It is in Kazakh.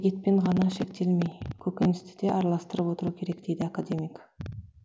етпен ғана шектелмей көкөністі де араластырып отыру керек дейді академик